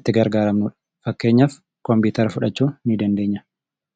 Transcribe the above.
itti gargaaramnudha .Fakkeenyaaf kompiitara fudhachuu ni dandeenya.